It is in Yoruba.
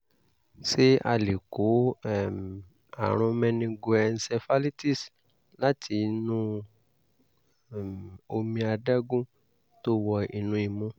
ṣé a lè kó um àrùn meningoencephalitis láti inú um omi adágún tó wọ inú imú?